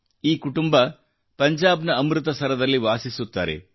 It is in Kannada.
ಈ ಕುಟುಂಬ ಪಂಜಾಬ್ ನ ಅಮೃತಸರದಲ್ಲಿ ವಾಸಿಸುತ್ತಾರೆ